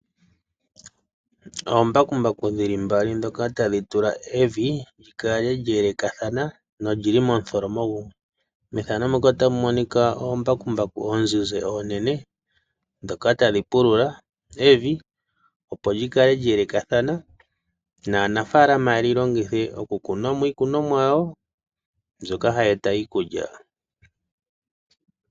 Oombakumbaku dhi li mbali ndhoka ta dhi tula evi li kale lya elekathana no lili momutholomo gumwe. Methano muka ota mu monika oombakumbaku omuzizi omunene ndyoka ta li pulula evi opo li kale lya elekathana naanafalama ye li longithe okukuna iikunomwa yawo mbyoka hayi eta iikulya.